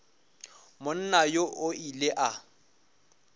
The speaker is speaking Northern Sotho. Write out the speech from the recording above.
monna yoo o ile a